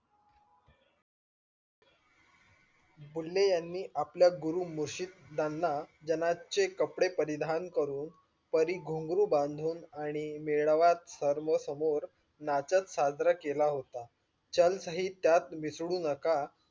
बुले यांनी आपला गुरु मुर्शिद यांना जनाचे कपडे परिधान करून, परी घुंगरू बधून आणि मेळाव्यात सर्व समोर नाचत सादर केला होता. चाल शीत त्यात मिसळू नका